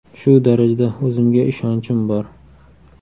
Shu darajada o‘zimga ishonchim bor.